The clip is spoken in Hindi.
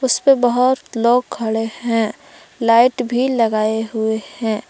उस पे बहुत लोग खड़े हैं लाइट भी लगाए हुए हैं।